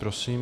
Prosím.